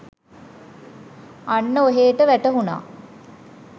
අන්න ඔහේට වැටහුණා